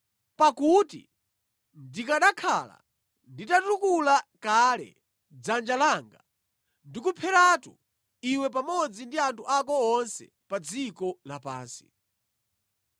Pakuti ndikanakhala nditatukula kale dzanja langa ndikupheratu iwe pamodzi ndi anthu ako onse pa dziko lapansi.